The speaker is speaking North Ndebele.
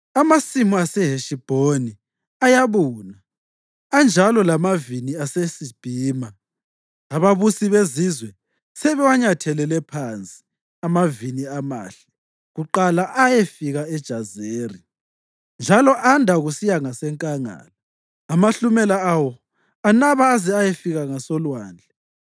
Amasimu aseHeshibhoni ayabuna, anjalo lamavini aseSibhima. Ababusi bezizwe sebewanyathelele phansi amavini amahle kuqala ayefika eJazeri, njalo anda kusiya ngasenkangala. Amahlumela awo anaba aze ayafika ngasolwandle.